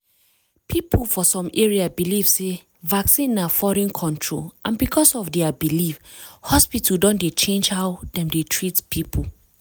people for some area believe sey vaccine na foreign control and because of their belief hospital don dey change how dem dey treat people.